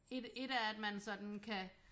Et et er at man sådan kan